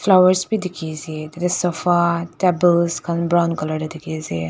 flowers bi dikhiase tatae sofa table brown colour tae dikhiase.